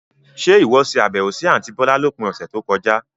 Ṣe ìwọ ṣe àbẹ̀wò sì àntí bọ̀lá lópin ọ̀sẹ̀ tó kọjá?